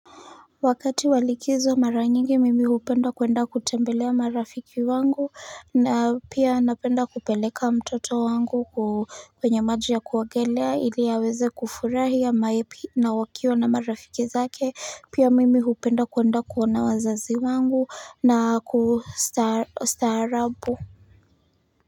Wakati wa likizo mara nyingi mimi hupenda kuenda kutembelea marafiki wangu na pia napenda kupeleka mtoto wangu kwenye maji ya kuogelea ili aweze kufurahi ama happy na wakiwa na marafiki zake pia mimi hupenda kuenda kuona wazazi wangu na kustaarabu.